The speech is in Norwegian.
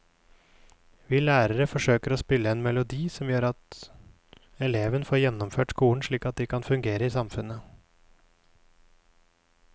Vi lærere forsøker å spille en melodi som gjør at elevene får gjennomført skolen slik at de kan fungere i samfunnet.